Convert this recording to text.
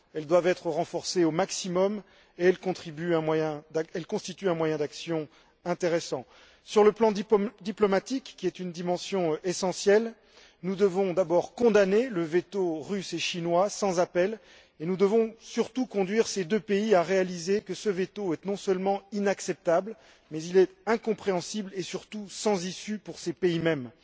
Elles doivent être renforcées au maximum et elles constituent un moyen d'action intéressant. Sur le plan diplomatique, qui est une dimension essentielle, nous devons d'abord condamner le veto russe et chinois, sans appel, et nous devons surtout conduire ces deux pays à réaliser que ce veto est non seulement inacceptable, mais il est incompréhensible et surtout sans issue pour ces pays mêmes.